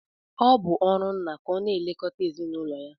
Ọ bụ ọrụ nna ka ọ na-elekọta ezinụlọ ya